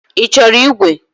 Ị chọrọ ígwè?